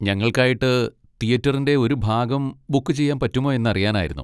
ഞങ്ങൾക്കായിട്ട് തിയേറ്ററിൻ്റെ ഒരു ഭാഗം ബുക്ക് ചെയ്യാൻ പറ്റുമോ എന്നറിയാനായിരുന്നു.